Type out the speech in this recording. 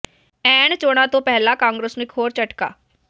ਐਣ ਚੋਣਾਂ ਤੋਂ ਪਹਿਲਾਂ ਕਾਂਗਰਸ ਨੂੰ ਇੱਕ ਹੋਰ ਝਟਕਾ